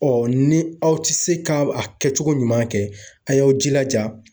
Ɔ ni aw ti se ka a kɛcogo ɲuman kɛ, a y'aw jilaja.